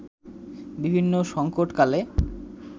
বিভিন্ন সংকটকালে